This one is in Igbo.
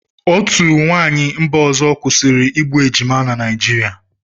Otu nwaanyị mba ọzọ kwụsịrị igbu ejima na Naịjirịa.